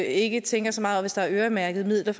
ikke tænker så meget over hvis der er øremærkede midler